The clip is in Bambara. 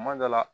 Kuma dɔ la